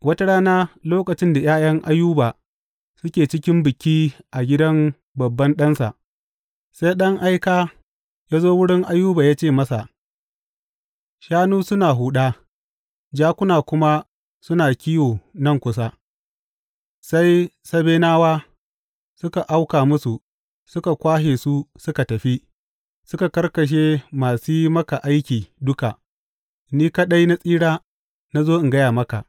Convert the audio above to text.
Wata rana lokacin da ’ya’yan Ayuba suke cikin biki a gidan babban ɗansa, sai ɗan aika ya zo wurin Ayuba ya ce masa, Shanu suna huɗa, jakuna kuma suna kiwo nan kusa, sai Sabenawa suka auka musu suka kwashe su suka tafi, suka karkashe masu yi maka aiki duka, ni kaɗai na tsira na zo in gaya maka!